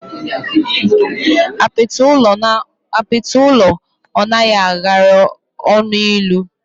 Apiti ulọ o nahi agara onu ilu.